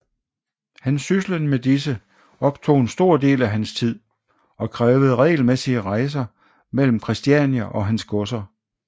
Hans syslen med disse optog en stor del af hans tid og krævede regelmæssige rejser mellem Christiania og hans godser